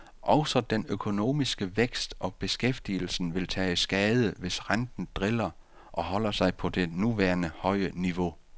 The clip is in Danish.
Også den økonomiske vækst og beskæftigelsen vi tage skade, hvis renten driller og holder sig på det nuværende høje niveau.